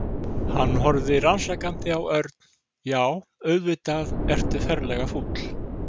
Hann horfði rannsakandi á Örn. Já, auðvitað ertu ferlega fúll.